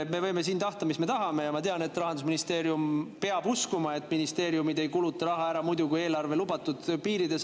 Me võime siin tahta, mis me tahame, ja ma tean, et Rahandusministeerium peab uskuma, et ministeeriumid ei kuluta raha ära teisiti, kui eelarve lubatud piirid on.